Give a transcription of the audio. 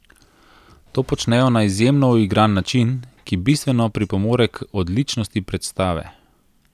To počnejo na izjemno uigran način, ki bistveno pripomore k odličnosti predstave.